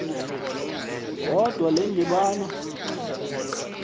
kodwa le ndibano